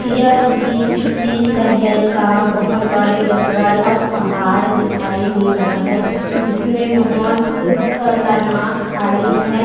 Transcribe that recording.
यह भी किसी शहर का बहोत बड़े जंगल और पहाड़ दिखाई दे रहा है जिसमे बहोत खतरनाक खाई हैं ।